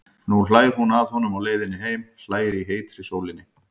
Nú hlær hún að honum á leiðinni heim, hlær í heitri sólinni.